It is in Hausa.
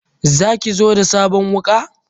Zaki zo da sabon wuka?